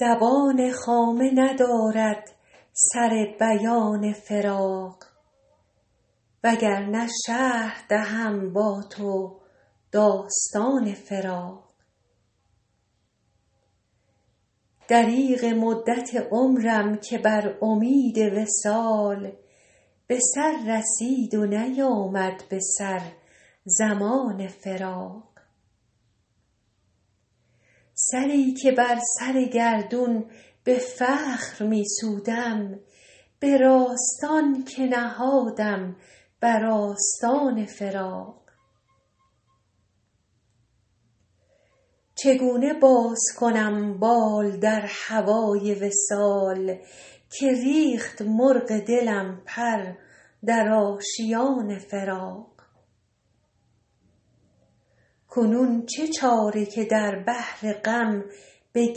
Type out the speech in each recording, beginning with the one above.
زبان خامه ندارد سر بیان فراق وگرنه شرح دهم با تو داستان فراق دریغ مدت عمرم که بر امید وصال به سر رسید و نیامد به سر زمان فراق سری که بر سر گردون به فخر می سودم به راستان که نهادم بر آستان فراق چگونه باز کنم بال در هوای وصال که ریخت مرغ دلم پر در آشیان فراق کنون چه چاره که در بحر غم به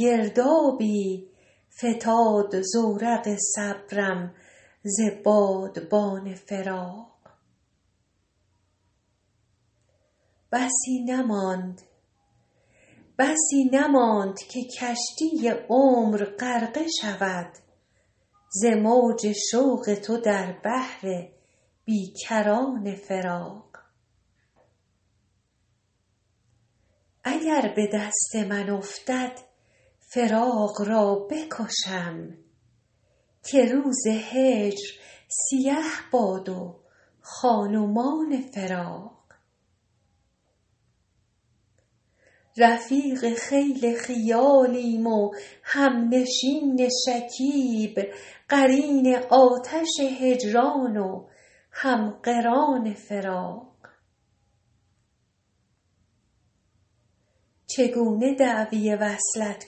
گردابی فتاد زورق صبرم ز بادبان فراق بسی نماند که کشتی عمر غرقه شود ز موج شوق تو در بحر بی کران فراق اگر به دست من افتد فراق را بکشم که روز هجر سیه باد و خان و مان فراق رفیق خیل خیالیم و همنشین شکیب قرین آتش هجران و هم قران فراق چگونه دعوی وصلت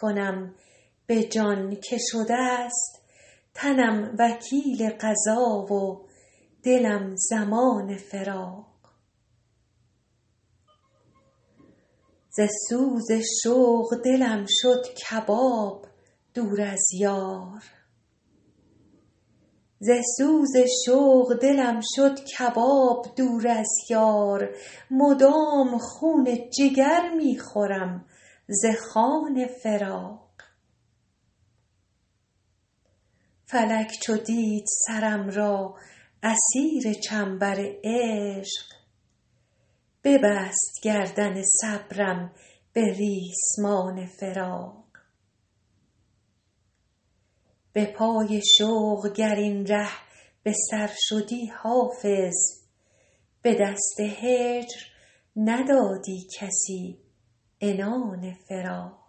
کنم به جان که شده ست تنم وکیل قضا و دلم ضمان فراق ز سوز شوق دلم شد کباب دور از یار مدام خون جگر می خورم ز خوان فراق فلک چو دید سرم را اسیر چنبر عشق ببست گردن صبرم به ریسمان فراق به پای شوق گر این ره به سر شدی حافظ به دست هجر ندادی کسی عنان فراق